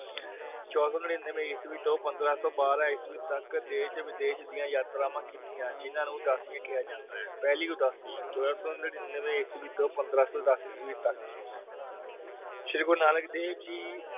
ਚੋਦਾ ਸੋ ਨੜੀਨਵੇਂ ਈਸਵੀ ਤੋਂ ਪੰਦਰਾਂ ਸੋ ਬਾਰਹ ਈਸਵੀ ਤਕ ਦੇਸ਼ ਵਿਦੇਸ਼ ਦੀਆਂ ਯਾਤਰਾਂਵਾ ਕੀਤੀਆਂ ਜਿਨ੍ਹਾਂ ਨੂੰ ਉਦਾਸੀਆਂ ਕਿਆ ਜਾਂਦਾ ਹੈ ਪਹਿਲੀ ਉਦਾਸੀ ਚੋਦਾ ਸੋ ਨੜੀਨਵੇਂ ਈਸਵੀ ਤੋਂ ਪੰਦਰਾਂ ਸੋ ਦਸ ਈਸਵੀ ਤਕ ਸ਼੍ਰੀ ਗੁਰੂ ਨਾਨਕ ਦੇਵ ਜੀ